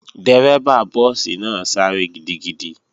Dérẹ́bà búùsì náà sáré gidigidi